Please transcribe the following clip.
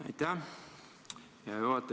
Aitäh, hea juhataja!